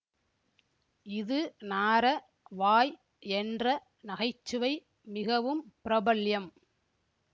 இதுநாற வாய் என்ற நகைச்சுவை மிகவும் பிரபல்யம்